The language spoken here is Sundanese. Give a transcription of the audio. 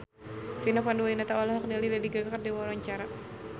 Vina Panduwinata olohok ningali Lady Gaga keur diwawancara